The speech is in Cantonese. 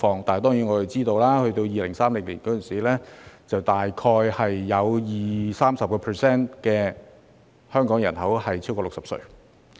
當然，我們知道到了2030年，香港人口中大概有 20% 至 30% 的人超過60歲。